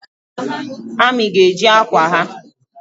Amị ga-eji akwa ha